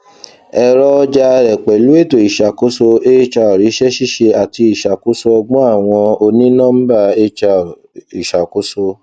ẹrọ ọja rẹ pẹlu eto iṣakoso hr iṣẹ ṣiṣe ati iṣakoso ọgbọn awọn onínọmbà hr iṣakoso